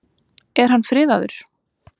Er hann friðaður?